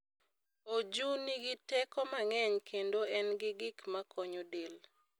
Oju nigi teko mang'eny kendo en gi gik makonyo del.